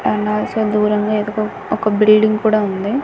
And also దూరంగా ఒక building కూడా ఉంది.